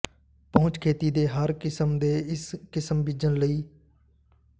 ਪਹੁੰਚ ਖੇਤੀ ਦੇ ਹਰ ਕਿਸਮ ਦੇ ਇਸ ਕਿਸਮ ਬੀਜਣ ਲਈ